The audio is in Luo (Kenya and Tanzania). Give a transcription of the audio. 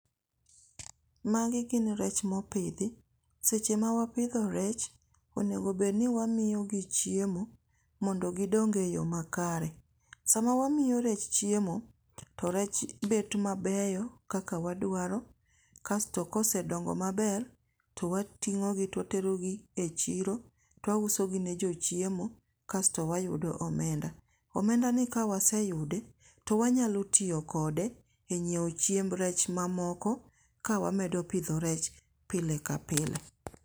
Magi gin rech mopidhi. seche ma wapidho rech, onego obedni wamiyogi chiemo, mondo gidong e yo makare. Sama wamiyo rech chiemo, to rech bedo mabeyo kaka wadwaro, kasto kosedongo maber, to wating'ogi to waterogi e chiro to wausogi ne jochiemo, kasto wayudo omenda. Omenda ni kawaseyude, to wanyalo tiyo kode e nyiewo chiemb rech mamoko ka wamedo pidho rech pile ka pile.